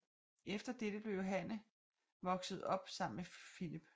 Efter dette blev Johanne voksede op sammen med Filip